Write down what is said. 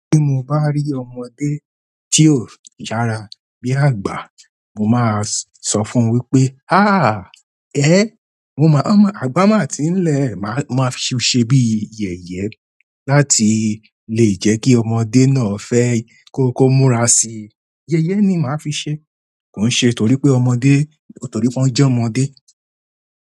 Tí mo bá rí ọmọdé tí ó yára bi àgbà, mo máa sọ fún wípé, àgbà máa ti ń lẹ̀, màá fi ṣe bí i yẹ̀yẹ láti lè jẹ́ kí ọmọdé náà fẹ́ kó múra sí i. Yẹ̀yẹ́ ni màá fi ṣe, kò ń ṣe torí pé ọmọdé, torí pé wọ́n jẹ́ ọmọdé.